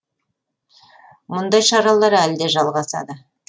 мұндай шаралар әлі де жалғасады